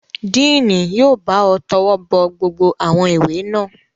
Díìnì yóò bá ọ tọwọ́bọ gbogbo àwọn ìwé náà.